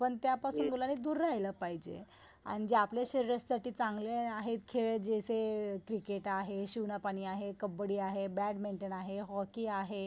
पण त्या पासून मुलांनी दूर राहील पाहिजे आन जे आपल्या शरीरसाठी चांगले आहे खेळ जसे क्रिकेट आहे, शिवना पाणी आहे, कब्बडी आहे, बॅट मिंटोन आहे, हॉकी आहे.